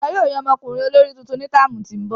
Wọn yóò yan ọmọkunrin olori tuntun ni táámu ti n bọ.